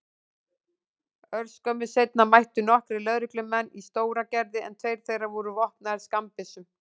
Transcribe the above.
Örskömmu seinna mættu nokkrir lögreglumenn í Stóragerði en tveir þeirra voru vopnaðir skammbyssum.